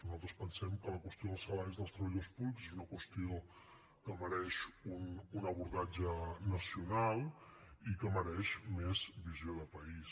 nosaltres pensem que la qüestió dels salaris dels treballadors públics és una qüestió que mereix un abordatge nacional i que mereix més visió de país